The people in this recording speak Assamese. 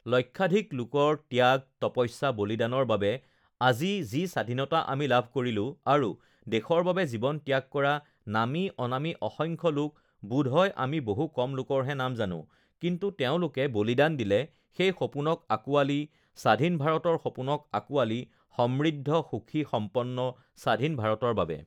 লক্ষাধিক লোকৰ ত্যাগ, তপস্যা, বলিদানৰ বাবে আজি যি স্বাধীনতা আমি লাভ কৰিলো.আৰু দেশৰ বাবে জীৱন ত্যাগ কৰা নামী অনামী, অসংখ্য লোক, বোধহয় আমি বহু কম লোকৰহে নাম জানো.কিন্তু তেওঁলোকে বলিদান দিলে সেই সপোনক আঁকোৱালি, স্বাধীন ভাৰতৰ সপোনক আঁকোৱালি, সমৃদ্ধ, সুখী, সম্পন্ন স্বাধীন ভাৰতৰ বাবে!